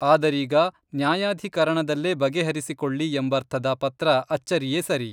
ಆದರೀಗ ನ್ಯಾಯಾಧಿಕರಣದಲ್ಲೇ ಬಗೆಹರಿಸಿಕೊಳ್ಳಿ ಎಂಬರ್ಥದ ಪತ್ರ ಅಚ್ಚರಿಯೇ ಸರಿ.